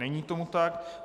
Není tomu tak.